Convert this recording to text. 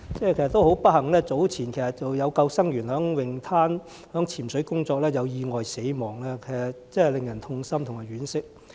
很不幸，早前有救生員在泳灘執行潛水工作時意外身亡，令人痛心和惋惜。